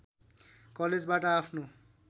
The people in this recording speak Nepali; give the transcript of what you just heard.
कलेजबाट आफ्नो